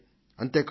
అంతే కాదు